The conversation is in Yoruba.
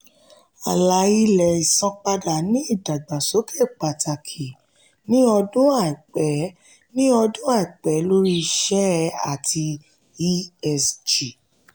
àlà-ilẹ̀ ìsanpadà ní ìdàgbàsókè pàtàkì ní ọdún aipẹ ní ọdún aipẹ lórí iṣẹ́ ati esg.